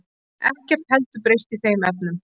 Ekkert heldur breyst í þeim efnum.